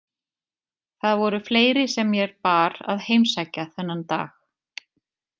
Það voru fleiri sem mér bar að heimsækja þennan dag.